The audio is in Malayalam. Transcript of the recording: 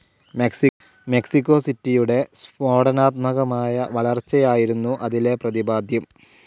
മെക്സിക്കോ സിറ്റിയുടെ സ്ഫോടനാത്മകമായ വളർച്ചയായിരുന്നു അതിലെ പ്രതിപാദ്യം.